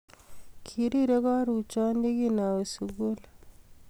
Kiriri karuchon ye kinawe sukul